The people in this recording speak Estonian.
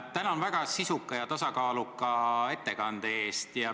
Tänan väga sisuka ja tasakaaluka ettekande eest!